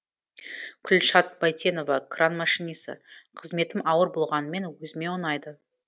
күлшат байтенова кран машинисі қызметім ауыр болғанымен өзіме ұнайды